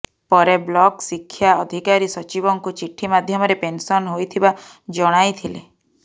ପରେ ବ୍ଲକ ଶିକ୍ଷା ଅଧିକାରୀ ସଚିବଙ୍କୁ ଚିଠି ମାଧ୍ୟମରେ ପେନସନ ହୋଇଥିବା ଜଣାଇଥିଲେ